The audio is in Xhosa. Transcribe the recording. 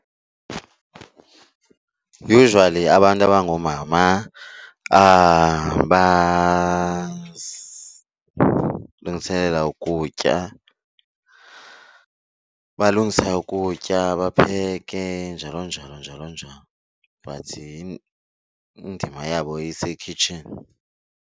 Usually abantu abangoomama basilungiselela ukutya, balungisa ukutya bapheke njalo, njalo njalo njalo, but indima yabo isekhitshini.